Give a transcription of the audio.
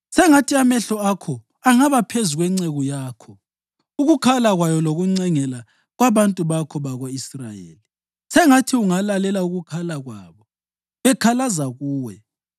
Sengathi amehlo akho angaba phezu kwenceku yakho ukukhala kwayo lokuncengela kwabantu bakho bako-Israyeli, sengathi ungalalela ukukhala kwabo bekhalaza kuwe.